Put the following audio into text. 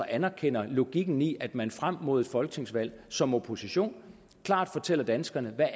anerkender logikken i at man frem mod et folketingsvalg som opposition klart fortæller danskerne hvad